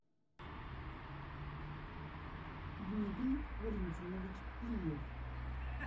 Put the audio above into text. дмитрий валентинович плиев